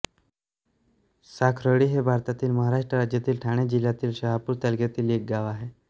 साखरोळी हे भारतातील महाराष्ट्र राज्यातील ठाणे जिल्ह्यातील शहापूर तालुक्यातील एक गाव आहे